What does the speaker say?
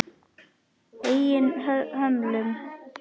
Eigin hömlum.